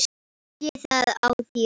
Ég sé það á þér.